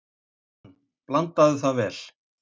Hann: Blandaðu það vel.